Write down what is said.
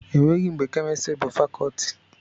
Enweghị mgbe kemịstrị bụ fakọtị